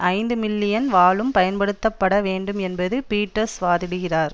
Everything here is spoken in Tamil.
ஐந்து மில்லியன் வாழும் பயன்படுத்தப்பட வேண்டும் என்றும் பீட்டர்ஸ் வாதிடுகிறார்